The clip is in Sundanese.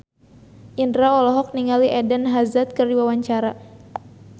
Indro olohok ningali Eden Hazard keur diwawancara